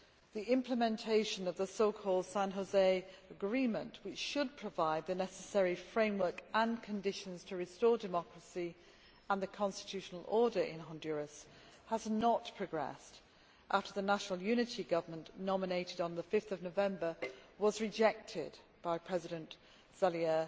The implementation of the so called San José Agreement, which should provide the necessary framework and conditions to restore democracy and the constitutional order in Honduras, has not progressed after the National Unity Government nominated on 5 November was rejected by President Zelaya.